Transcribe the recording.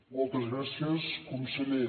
moltes gràcies conseller